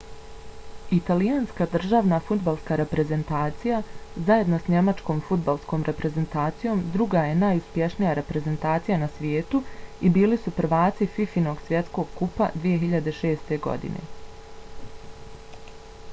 italijanska državna fudbalska reprezentacija zajedno s njemačkom fudbalskom reprezentacijom druga je najuspješnija reprezentacija na svijetu i bili su prvaci fifa-inog svjetskog kupa 2006. godine